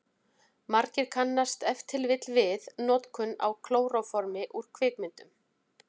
Margir kannast ef til vill við notkun á klóróformi úr kvikmyndum.